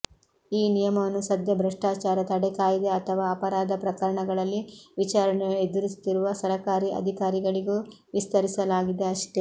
ಈ ನಿಯಮವನ್ನು ಸದ್ಯ ಭ್ರಷ್ಟಾಚಾರ ತಡೆ ಕಾಯ್ದೆ ಅಥವಾ ಅಪರಾಧ ಪ್ರಕರಣಗಳಲ್ಲಿ ವಿಚಾರಣೆ ಎದುರಿಸುತ್ತಿರುವ ಸರಕಾರಿ ಅಧಿಕಾರಿಗಳಿಗೂ ವಿಸ್ತರಿಸಲಾಗಿದೆ ಅಷ್ಟೆ